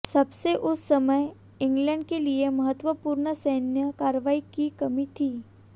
सबसे उस समय इंग्लैंड के लिए महत्वपूर्ण सैन्य कार्रवाई की कमी थी